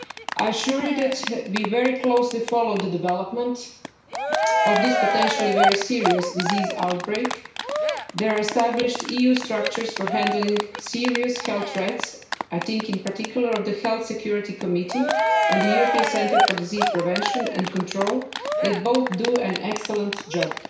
I assure you that we very closely follow the development of this potentially very serious disease outbreak. There are established EU structures for handling serious health threats I think in particular of the Health Security Committee and the European Centre for Disease Prevention and Control, which both do an excellent job.